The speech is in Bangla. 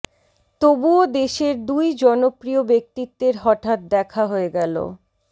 তবুও দেশের দুই জনপ্রিয় ব্যক্তিত্বের হঠাৎ দেখা হয়ে গেল